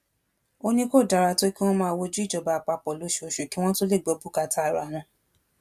ó ní kò dára tó kí wọn máa wojú ìjọba àpapọ lóṣooṣù kí wọn tóó lè gbọ bùkátà ara wọn